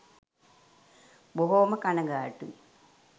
බොහෝම කනගාටුයි